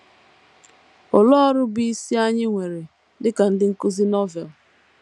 Olee ọrụ bụ́ isi anyị nwere dị ka ndị nkụzi Novel?